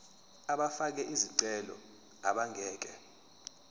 abafake izicelo abangeke